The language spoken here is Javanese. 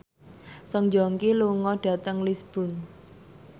Song Joong Ki lunga dhateng Lisburn